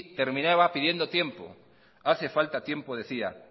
terminaba pidiendo tiempo hace falta tiempo decía